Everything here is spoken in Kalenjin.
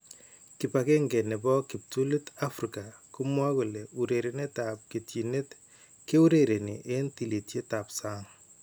Kibakenke nebo kiptulit Afrika komwae kole urerenetab ketyinet keurereni en tililiet ab sang'